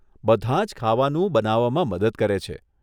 બધાં જ ખાવાનું બનાવવામાં મદદ કરે છે.